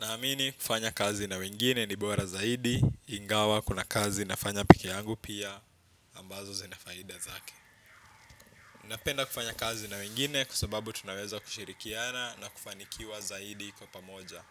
Naamini kufanya kazi na wengine ni bora zaidi, ingawa kuna kazi nafanya peke yangu pia, ambazo zinafaida zake. Napenda kufanya kazi na wengine kwa sababu tunaweza kushirikiana na kufanikiwa zaidi kwa pamoja.